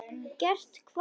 Gert hvað?